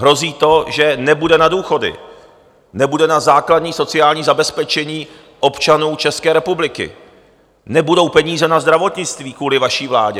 Hrozí to, že nebude na důchody, nebude na základní sociální zabezpečení občanů České republiky, nebudou peníze na zdravotnictví kvůli vaší vládě.